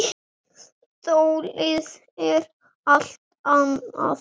Þolið er allt annað.